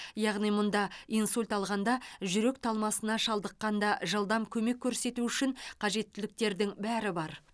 яғни мұнда инсульт алғанда жүрек талмасына шалдыққанда жылдам көмек көрсету үшін қажеттіліктердің бәрі бар